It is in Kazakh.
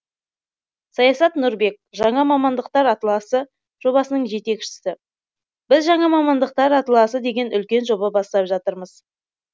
саясат нұрбек жаңа мамандықтар атласы жобасының жетекшісі біз жаңа мамандықтар атласы деген үлкен жоба бастап жатырмыз